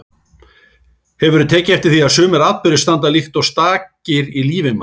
Hefurðu tekið eftir því að sumir atburðir standa líkt og stakir í lífi manns.